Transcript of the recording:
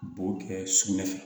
Bo kɛ sugunɛ fɛ